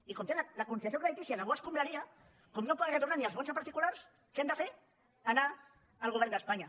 i com tenen la consideració creditícia de bo escombraria com no poden retornar ni els bons a particulars què han de fer anar al govern d’espanya